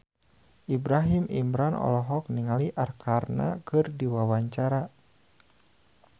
Ibrahim Imran olohok ningali Arkarna keur diwawancara